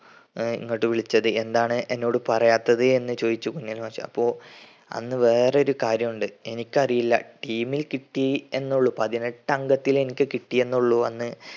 ആഹ് ഇങ്ങോട്ട് വിളിച്ചത് എന്താണ് എന്നോട് പറയാത്തത് എന്ന് ചോദിച്ചു കുഞ്ഞലവി മാഷ്. അപ്പൊ അന്ന് വേറൊരു കാര്യമുണ്ട്. എനിക്കറിയില്ല team ൽ കിട്ടി എന്ന ഉള്ളു. പതിനെട്ടങ്കത്തിൽ എനിക്ക് കിട്ടിയെന്ന ഉള്ളു അന്ന്